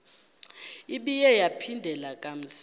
ibuye yaphindela kamsinya